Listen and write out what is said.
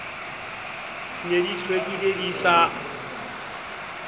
ne di hlwekile di sa